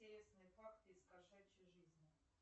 интересные факты из кошачьей жизни